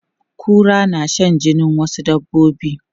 Kura na shan jinin wasu dabbobi.